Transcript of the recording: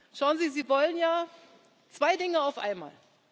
Schauen Sie, Sie wollen ja zwei Dinge auf einmal.